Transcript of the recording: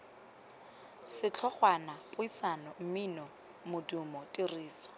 setlhogwana puisano mmino modumo tiriso